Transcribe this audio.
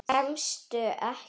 Kemstu ekki?